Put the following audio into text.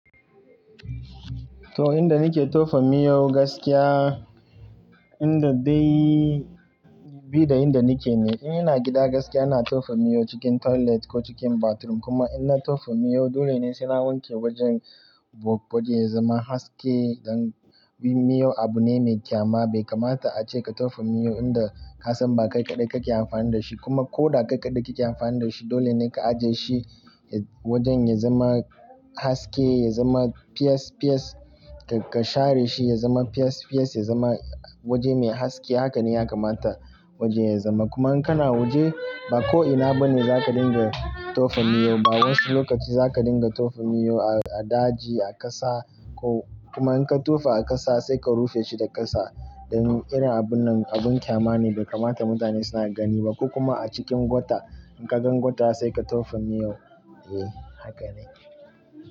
To, inda nike tofa miyo gaskiya, inda dai bi da inda nike ne. In ina gida gaskiya ina tofa miyo cikin toilet ko cikin bathroom. Kuma in na tofa miyo dole ne sai na wanke wajen bo-waje ya zama haske don bi miyo abu ne mai ƙyama. Bai kamata a ce ka tofa miyo inda ka san ba kai kaɗai kake amfani da shi. Kuma ko da kai kaɗai kake amfani da shi, dole ne ka aje shi wajen ya zama haske, ya zama fiyes fiyes. Ka, ka share shi ya zama fiyes fiyes, ya zama waje mai haske. Haka ne ya kamata wajen ya zama. Kuma in kana waje ba ko'ina bane za ka dinga tofa miyo. Ba wasu lokaci za ka dinga tofa miyo a, a daji, a ƙasa ko kuma in ka tofa a ƙasa sai ka rufe shi da ƙasa don irin abun nan abun ƙyama ne bai kamata mutane suna gani ba. Ko kuma a cikin gwata. In ka gan gwata sai ka tofa miyon. Eh, haka ne.